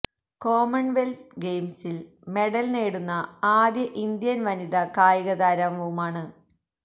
common wealth ഗയിംസിൽ medal നേടുന്ന ആദ്യ ഇന്ത്യൻ വനിതാ കായികതാരംവുമാണ്